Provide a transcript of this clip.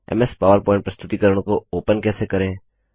MS PowerPoint प्रस्तुतिकरण को open कैसे करें